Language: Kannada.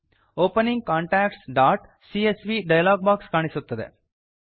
ಓಪನಿಂಗ್ contactsಸಿಎಸ್ವಿ ಡಯಲಾಗ್ ಬಾಕ್ಸ್ ಕಾಣಿಸುತ್ತದೆ